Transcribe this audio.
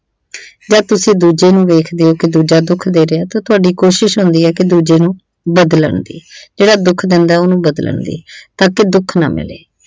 ਜਦ ਤੁਸੀਂ ਦੂਜੇ ਨੂੰ ਵੇਖਦੇ ਓ ਕਿ ਦੂਜਾ ਦੁੱਖ ਦੇ ਰਿਹਾ ਤਾਂ ਤੁਹਾਡੀ ਕੋਸ਼ਿਸ਼ ਹੁੰਦੀ ਹੈ ਕਿ ਦੂਜੇ ਨੂੰ ਬਦਲਣ ਦੀ ਜਿਹੜਾ ਦੁੱਖ ਦਿੰਦਾ ਉਨੂੰ ਬਦਲਣ ਦੀ ਤਾਂ ਕੀ ਦੁੱਖ ਨਾ ਮਿਲੇ।